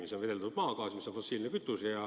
See on veeldatud maagaas, mis on fossiilne kütus.